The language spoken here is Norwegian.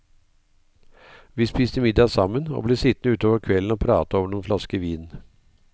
Vi spiste middag sammen, og ble sittende utover kvelden og prate over noen flasker vin.